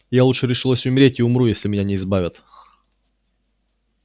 я лучше решилась умереть и умру если меня не избавят